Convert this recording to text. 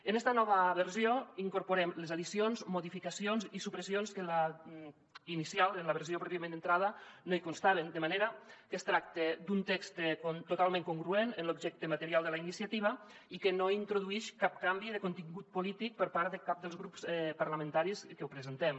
en esta nova versió hi incorporem les addicions modificacions i supressions que a la inicial en la versió pròpiament d’entrada no hi constaven de manera que es tracta d’un text totalment congruent amb l’objecte material de la iniciativa i que no introduïx cap canvi de contingut polític per part de cap dels grups parlamentaris que ho presentem